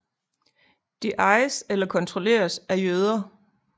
De ejes eller kontrolleres af jøder